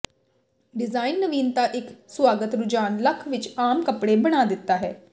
design ਨਵੀਨਤਾ ਇੱਕ ਸੁਆਗਤ ਰੁਝਾਨ ਲੱਖ ਵਿਚ ਆਮ ਕੱਪੜੇ ਬਣਾ ਦਿੱਤਾ ਹੈ